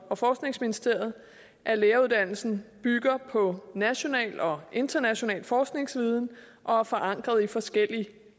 og forskningsministeriet at læreruddannelsen bygger på national og international forskningsviden og er forankret i forskellige